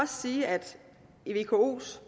sige at i vkos